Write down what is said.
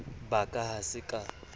ba ka ha ke sa